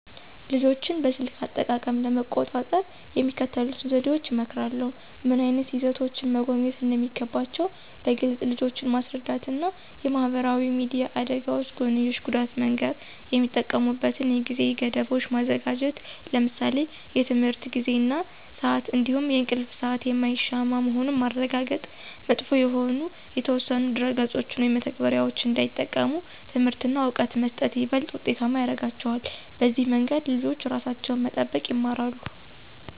ልጆችን በስልክ አጠቃቀም ለመቆጣጠር የሚከተሉትን ዘዴዎች እመክራለሁ። ምን ዓይነት ይዘቶችን መጎብኘት እንደሚገባቸው በግልፅ ልጆችን ማስረዳት እና የማህበራዊ ሚዲያ አደጋዎች ጎንዮሽ ጉዳት መንገር። የሚጠቀሙበትን የጊዜ ገደቦች ማዘጋጀት ለምሳሌ የትምህርት ጊዜ እና ስአት እንዲሁም የእንቅልፍ ሰአት የማይሻማ መሆኑን ማረጋገጥ። መጥፎ የሆኑ የተወሰኑ ድረ-ገጾችን ወይም መተግበሪያዎችን እንዳይጠቀሙ ትምህርት እና እውቀት መስጠት ይበልጥ ውጤታማ ያረጋቸዋል። በዚህ መንገድ ልጆች ራሳቸውን መጠበቅ ይማራሉ።